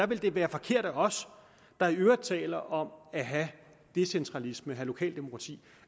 ville det være forkert af os der i øvrigt taler om at have decentralisme lokaldemokrati